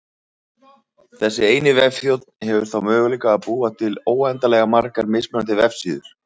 Þessi eini vefþjónn hefur þá möguleika á að búa til óendanlega margar mismunandi vefsíður.